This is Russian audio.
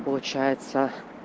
получается